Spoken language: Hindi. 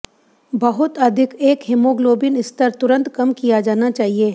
बहुत अधिक एक हीमोग्लोबिन स्तर तुरंत कम किया जाना चाहिए